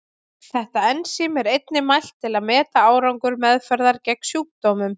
Þetta ensím er einnig mælt til að meta árangur meðferðar gegn sjúkdómnum.